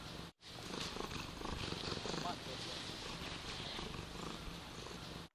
манглхорн включи мне